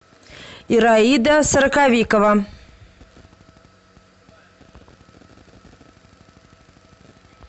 ираида сороковикова